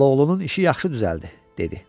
Xalaoğlunun işi yaxşı düzəldi, dedi.